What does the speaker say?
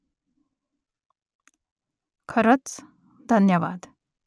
खरंच ? धन्यवाद